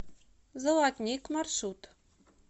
золотник маршрут